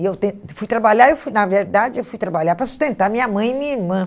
E eu fui trabalhar, eu fui na verdade, eu fui trabalhar para sustentar minha mãe e minha irmã.